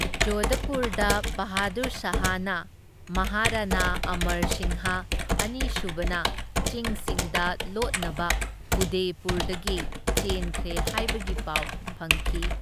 ꯖꯣꯙꯄꯨꯔꯗ ꯕꯍꯥꯗꯨꯔ ꯁꯥꯍꯅ ꯃꯍꯥꯔꯥꯅꯥ ꯑꯃꯔ ꯁꯤꯡꯍ ꯑꯅꯤꯁꯨꯕꯅ ꯆꯤꯡꯁꯤꯡꯗ ꯂꯣꯠꯅꯕ ꯎꯗꯦꯄꯨꯔꯗꯒꯤ ꯆꯦꯟꯈ꯭ꯔꯦ ꯍꯥꯏꯕꯒꯤ ꯄꯥꯎ ꯐꯪꯈꯤ꯫